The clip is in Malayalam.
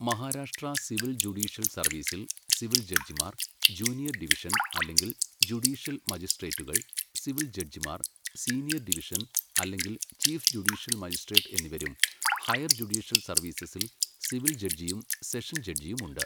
മഹാരാഷ്ട്ര സിവിൽ ജുഡീഷ്യൽ സർവീസിൽ സിവിൽ ജഡ്ജിമാർ, ജൂനിയർ ഡിവിഷൻ, അല്ലെങ്കിൽ ജുഡീഷ്യൽ മജിസ്ട്രേറ്റുകൾ, സിവിൽ ജഡ്ജിമാർ, സീനിയർ ഡിവിഷൻ, അല്ലെങ്കിൽ ചീഫ് ജുഡീഷ്യൽ മജിസ്ട്രേറ്റ് എന്നിവരും ഹയർ ജുഡീഷ്യൽ സർവീസസിൽ സിവിൽ ജഡ്ജിയും സെഷൻ ജഡ്ജിയും ഉണ്ട്.